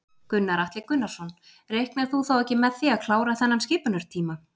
Gunnar Atli Gunnarsson: Reiknar þú þá ekki með því að klára þennan skipunartíma?